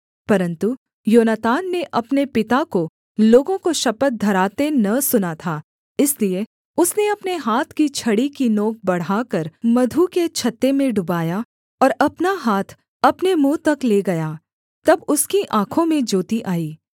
परन्तु योनातान ने अपने पिता को लोगों को शपथ धराते न सुना था इसलिए उसने अपने हाथ की छड़ी की नोक बढ़ाकर मधु के छत्ते में डुबाया और अपना हाथ अपने मुँह तक ले गया तब उसकी आँखों में ज्योति आई